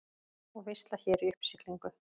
Og veisla hér í uppsiglingu.